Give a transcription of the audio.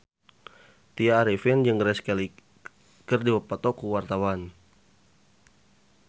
Tya Arifin jeung Grace Kelly keur dipoto ku wartawan